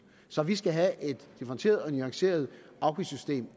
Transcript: så vi skal have et differentieret og nuanceret afgiftssystem